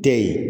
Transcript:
Tɛ ye